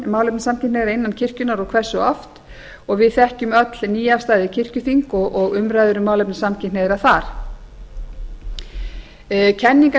málefni samkynhneigðra innan kirkjunnar og hversu oft og við þekkjum öll nýafstaðið kirkjuþing og umræður um málefni samkynhneigðra þar kenningarnefnd kirkjunnar sem skilað var í